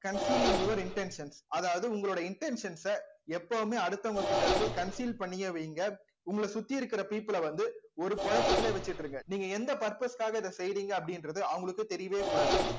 concealing your intention அதாவது உங்களோட intentions அ எப்பவுமே அடுத்தவங்ககிட்ட இருந்து conceal பண்ணியே வைங்க உங்கள சுத்தி இருக்கிற people ஐ வந்து ஒரு குழப்பத்திலேயே வச்சிட்டு இருங்க நீங்க எந்த purpose க்காக இதை செய்யறீங்க அப்படின்றது அவங்களுக்குத் தெரியவே கூடாது